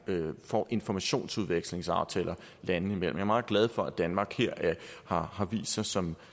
får informationsudviklingsaftaler landene imellem jeg er meget glad for at danmark her har vist sig som